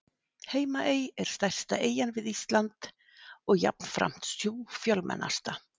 Heimaey er stærsta eyjan við Ísland og jafnframt sú fjölmennasta.